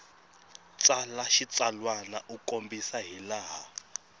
tsala xitsalwana u kombisa hilaha